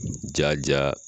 Jaja